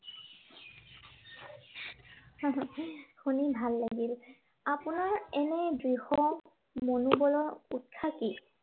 শুনি ভাল লাগিল। আপোনাৰ এনে দৃঢ় মনোৱলৰ উৎসা কি?